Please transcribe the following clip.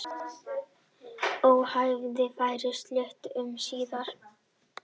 Óhófið fær sult um síðir.